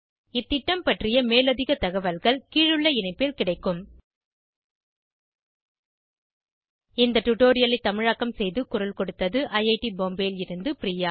இந்த திட்டம் பற்றிய மேலதிக தகவல்கள் கீழுள்ள இணைப்பில் கிடைக்கும் httpspoken tutorialorgNMEICT Intro இந்த டுடோரியலை தமிழாக்கம் செய்து குரல் கொடுத்தது ஐஐடி பாம்பேவில் இருந்து பிரியா